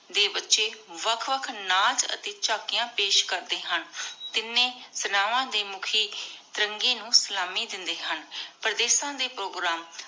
ਦੇ ਬਚੀ ਵਖ ਵਖ ਪੇਸ਼ ਕਰਦੇ ਹਨ ਤਿਨੀ ਸਿਨਾਵਾਂ ਦੇ ਮੁਖੀ ਤਿਰਾਂਗ੍ਯ ਨੂ ਸਿਲਾਮੀ ਦੇਂਦੀ ਹਨ ਪਰਦੇਸਾਂ ਦੇ ਪ੍ਰੋਗਰਾਮ